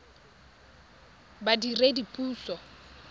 badiredipuso